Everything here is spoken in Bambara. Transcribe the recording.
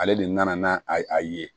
Ale de nana n'a a ye